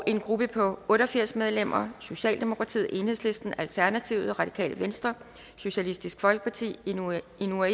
en gruppe på otte og firs medlemmer socialdemokratiet enhedslisten alternativet radikale venstre socialistisk folkeparti inuit